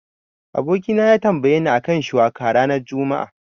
Abokina ya tambayeni a kan shiwaka ranar juma'a.